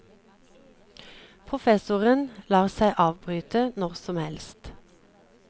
Professoren lar seg avbryte når som helst.